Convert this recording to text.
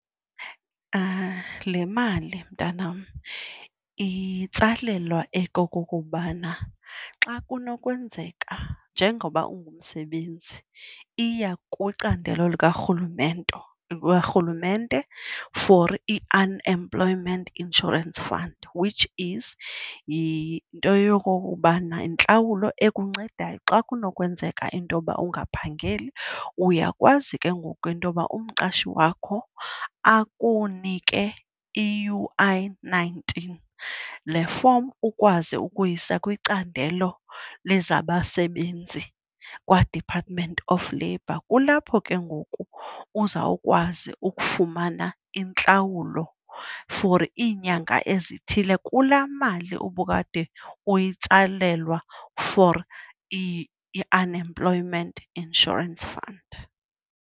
Le mali mntanam itsalelwa okokubana xa kunokwenzeka njengoba ungumsebenzi iya kwicandelo werhulumente for iUnemployment Insurance Fund, which is yinto yokokubana yintlawulo okuncedayo xa kunokwenzeka into yoba ungaphangeli uyakwazi ke ngoku into yoba umqashi wakho akunike i-U_I-nineteen. Le fomu ukwazi ukuyisa kwicandelo lezabasebenzi kwaDepartment of Labour. Kulapho ke ngoku uzawukwazi ukufumana intlawulo for iinyanga ezithile kulaa mali obukade uyitsalelwa for iUnemployment Insurance Fund.